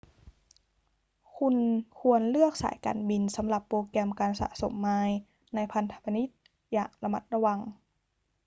คุณควรเลือกสายการบินสำหรับโปรแกรมการสะสมไมล์ในพันธมิตรอย่างระมัดระวัง